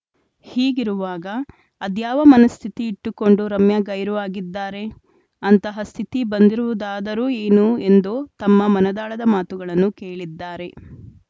ಹೀಗಿರುವಾಗ ಅದ್ಯಾವ ಮನಸ್ಥಿತಿ ಇಟ್ಟುಕೊಂಡು ರಮ್ಯಾ ಗೈರು ಆಗಿದ್ದಾರೆ ಅಂತಹ ಸ್ಥಿತಿ ಬಂದಿರುವುದಾದರೂ ಏನು ಎಂದು ತಮ್ಮ ಮನದಾಳದ ಮಾತುಗಳನ್ನು ಕೇಳಿದ್ದಾರೆ